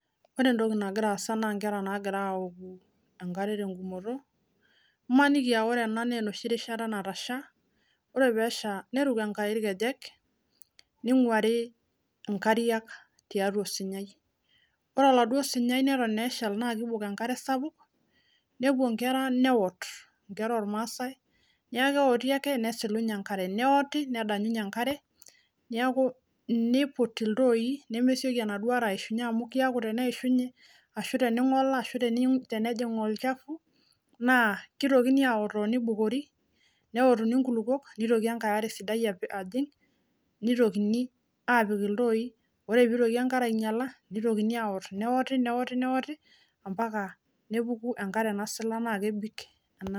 ore entoki nagira inkera naagira aaoku enkare tengumoto ebaiki naa onoshi rishata natasha neruk enkai irkejek nejing enkare osunyai nepuo inkera aawot aitayu enkare nesilunye nepik iltooyie nemesioki naa aishunye amuu ketii naa ake osunyai tenelo ninye neishunye nigili ake aawotu oleng